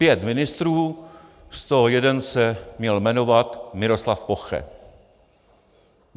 Pět ministrů, z toho jeden se měl jmenovat Miroslav Poche.